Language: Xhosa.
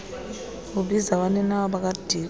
ubiza abaninawa bakadiko